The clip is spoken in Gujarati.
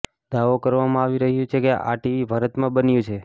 દાવો કરવામાં આવી રહ્યું છે કે આ ટીવી ભારતમાં બન્યું છે